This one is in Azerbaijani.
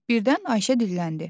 Birdən Ayşə dilləndi.